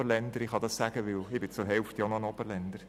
Ich kann das sagen, denn ich bin zur Hälfte auch ein «Oberlender».